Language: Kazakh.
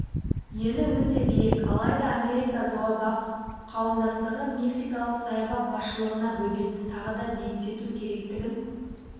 ені өте биік алайда америка зообақтар қауымдастығы мексикалық саябақ басшылығына бөгетті тағы да биіктету керектігін